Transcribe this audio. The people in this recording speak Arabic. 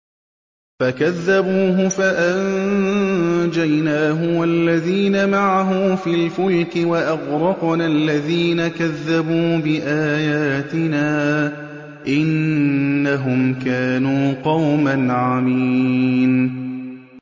فَكَذَّبُوهُ فَأَنجَيْنَاهُ وَالَّذِينَ مَعَهُ فِي الْفُلْكِ وَأَغْرَقْنَا الَّذِينَ كَذَّبُوا بِآيَاتِنَا ۚ إِنَّهُمْ كَانُوا قَوْمًا عَمِينَ